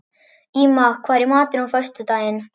Íma, hvað er í matinn á föstudaginn?